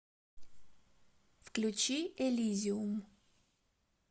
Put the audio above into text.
включи элизиум